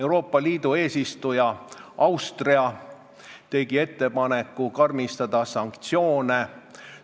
Euroopa Liidu eesistuja Austria tegi ettepaneku karmistada sanktsioone.